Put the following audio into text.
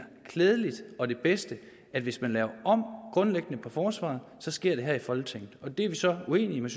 klædeligt og det bedste at hvis man laver grundlæggende om på forsvaret sker det her i folketinget det er vi så uenige